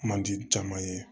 Man di caman ye